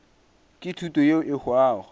ke thuto yeo e hwago